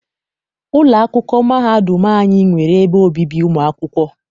Ụlọ akwụkwọ mahadum anyị nwere ebe obibi ụmụ akwụkwọ.